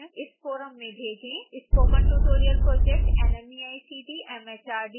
spoken tutorial project nmeict mhrd Bharat सरकार द्वारा वित्तपोषित है